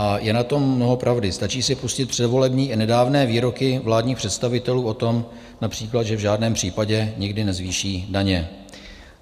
A je na tom mnoho pravdy, stačí si pustit předvolební i nedávné výroky vládních představitelů o tom například, že v žádném případě nikdy nezvýší daně.